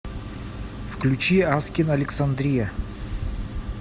включи аскинг александрия